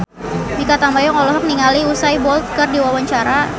Mikha Tambayong olohok ningali Usain Bolt keur diwawancara